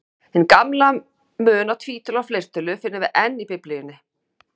Hinn gamla mun á tvítölu og fleirtölu finnum við enn í Biblíunni.